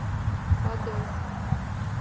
подольск